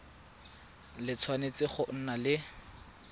le tshwanetse go nna le